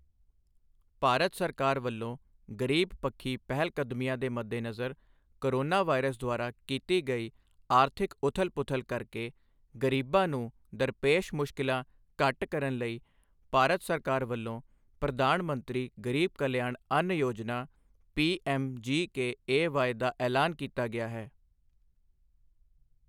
ਭਾਰਤ ਸਰਕਾਰ ਵੱਲੋਂ ਗ਼ਰੀਬਪੱਖੀ ਪਹਿਲਕਦਮੀਆਂ ਦੇ ਮੱਦੇਨਜ਼ਰ ਕੋਰੋਨਾ ਵਾਈਰਸ ਦੁਆਰਾ ਕੀਤੀ ਗਈ ਆਰਥਿਕ ਉਥਲ ਪੁਥਲ ਕਰਕੇ ਗ਼ਰੀਬਾਂ ਨੂੰ ਦਰਪੇਸ਼ ਮੁਸ਼ਕਿਲਾਂ ਘੱਟ ਕਰਨ ਲਈ ਭਾਰਤ ਸਰਕਾਰ ਵੱਲੋਂ Pradhan Mantri Garib Kalyan Ann Yojana P M G K A Y ਦਾ ਐਲਾਨ ਕੀਤਾ ਗਿਆ ਹੈ।